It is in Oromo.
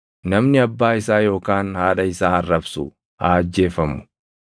“Namni abbaa isaa yookaan haadha isaa arrabsu haa ajjeefamu.